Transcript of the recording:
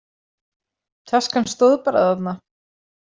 Taskan stóð bara þarna.